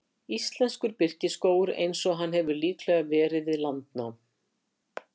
Íslenskur birkiskógur eins og hann hefur líklega verið við landnám.